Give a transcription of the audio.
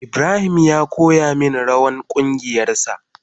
Ibrahim ya koya min rawan kungiyan sa.